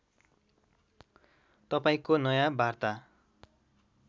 तपाईँंको नयाँ वार्ता